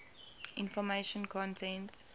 information content